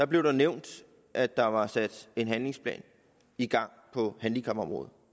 blev der nævnt at der var sat en handlingsplan i gang på handicapområdet